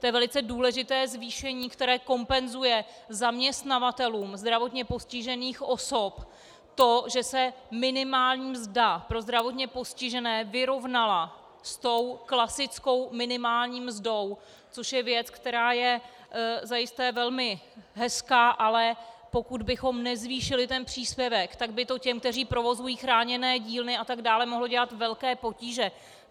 To je velice důležité zvýšení, které kompenzuje zaměstnavatelům zdravotně postižených osob to, že se minimální mzda pro zdravotně postižené vyrovnala s tou klasickou minimální mzdou, což je věc, která je zajisté velmi hezká, ale pokud bychom nezvýšili ten příspěvek, tak by to těm, kteří provozují chráněné dílny atd., mohlo dělat velké potíže.